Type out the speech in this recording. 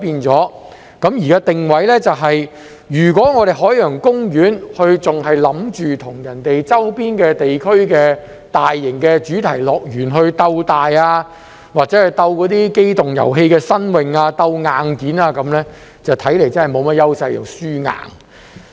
在定位上，如果海洋公園還想與周邊地區的大型主題樂園鬥大，或者在機動遊戲上鬥新穎、鬥硬件，那看來真是沒甚麼優勢，是"輸硬"的。